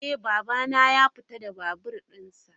Eh babana ya fita da babur dinsa.